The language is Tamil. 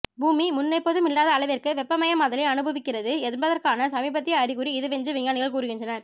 பூமி முன்னெப்போதும் இல்லாத அளவிற்கு வெப்பமயமாதலை அனுபவிக்கிறது என்பதற்கான சமீபத்திய அறிகுறி இதுவென்று விஞ்ஞானிகள் கூறுகின்றனர்